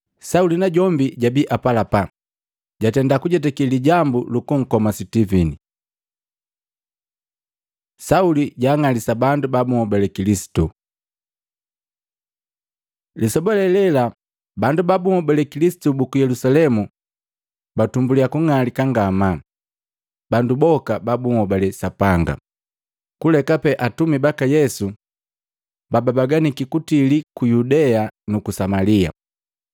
Sauli najombi jabii apalapala, jatenda kujetake lijambu lukunkoma Sitivini. Sauli juling'alisa bandu babuhobale Kilisitu Lisoba lee lela bandu babuhobale Kilisitu buku Yelusalemu latumbulia kung'alika ngamaa. Bandu boka ba bunhobale Sapanga, kulekape atumi baka Yesu, babaganiki kutili ku Yudea nuku Samalia.